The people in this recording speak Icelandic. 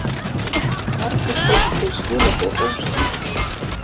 Margir töldu þau skilaboð óskýr.